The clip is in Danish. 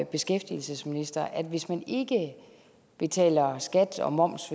beskæftigelsesminister at hvis man ikke betaler skat og moms